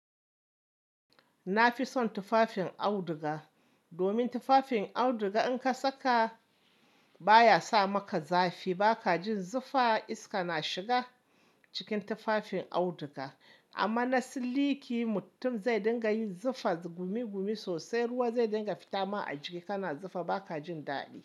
Na fi son tufafin auduga, domin tufafin auduga in ka saka baya sa maka zafi. Ba ka jin zufa iska na shiga cikin tufafin auduga. Amma na siliki, mutum zai dinga yin zafa, gumi gumi sosai. Ruwa zai dinga fitama a jiki, kana zufa ba ka jin daɗi.